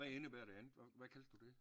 Hvad indebærer det andet hvad kaldte du det